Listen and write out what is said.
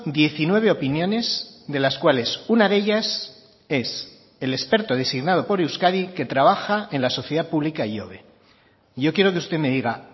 diecinueve opiniones de las cuales una de ellas es el experto designado por euskadi que trabaja en la sociedad pública ihobe yo quiero que usted me diga